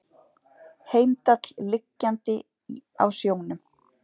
Heimdall liggjandi á sjónum.